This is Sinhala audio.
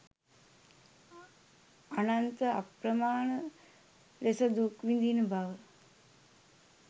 අනන්ත අප්‍රමාණ ලෙසදුක් විඳින බව